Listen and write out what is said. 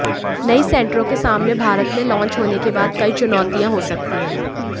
नई सैंट्रो के सामने भारत में लॉन्च होने के बाद कई चुनौतियां हो सकती हैं